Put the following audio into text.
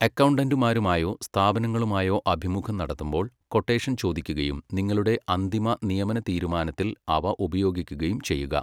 അക്കൗണ്ടൻ്റുമാരുമായോ സ്ഥാപനങ്ങളുമായോ അഭിമുഖം നടത്തുമ്പോൾ, ക്വൊട്ടേഷൻ ചോദിക്കുകയും നിങ്ങളുടെ അന്തിമ നിയമനതീരുമാനത്തിൽ അവ ഉപയോഗിക്കുകയും ചെയ്യുക.